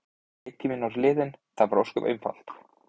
Leiktíminn var liðinn, það er ósköp einfalt.